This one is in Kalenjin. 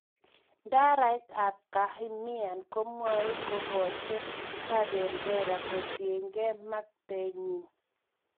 Idarait ab kehamihan komwoe kohochen Kabendera kotienge mengntenyin